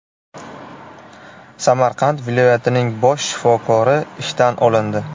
Samarqand viloyatining bosh shifokori ishdan olindi.